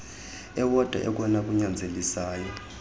ewodwa okona kunyanzelisayo